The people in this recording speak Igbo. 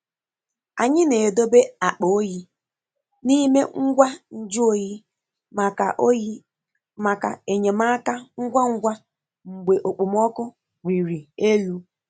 Anyị na-edobe akpa oyi n'ime ngwa nju oyi maka oyi maka enyemaka ngwa ngwa mgbe okpomọkụ riri elu.